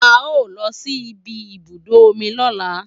A o lọ sí ìbi ibùdó omi lọ́la